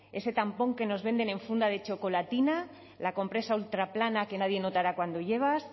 ese tampón que nos venden en funda de chocolatina la compresa ultraplana que nadie notará cuando llevas